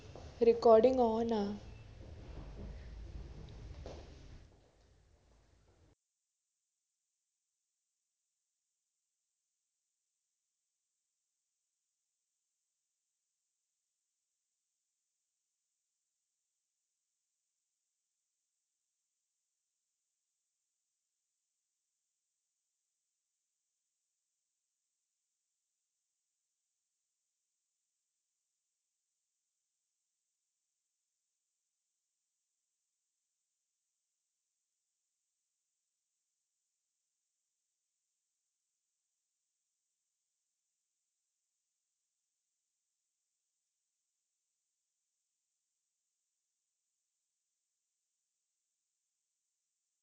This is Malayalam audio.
recording on ആ